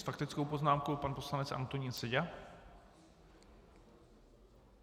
S faktickou poznámkou pan poslanec Antonín Seďa.